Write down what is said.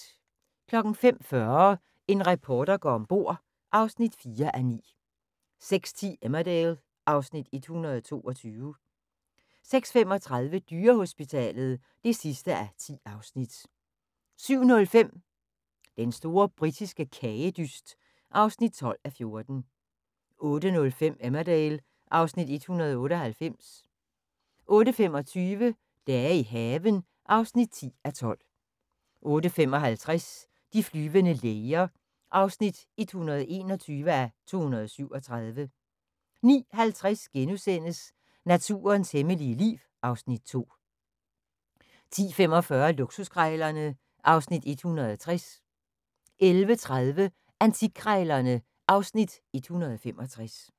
05:40: En reporter går om bord (4:9) 06:10: Emmerdale (Afs. 122) 06:35: Dyrehospitalet (10:10) 07:05: Den store britiske kagedyst (12:14) 08:05: Emmerdale (Afs. 198) 08:25: Dage i haven (10:12) 08:55: De flyvende læger (121:237) 09:50: Naturens hemmelige liv (Afs. 2)* 10:45: Luksuskrejlerne (Afs. 160) 11:30: Antikkrejlerne (Afs. 165)